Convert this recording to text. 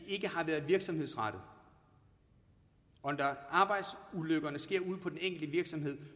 ikke har været virksomhedsrettet og da arbejdsulykkerne sker ude på den enkelte virksomhed